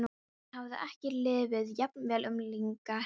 Henni hafði ekki liðið jafn vel um langa hríð.